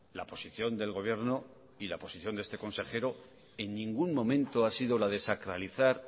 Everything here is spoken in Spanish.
la posición del gobierno y la posición de este consejero en ningún momento ha sido la de sacralizar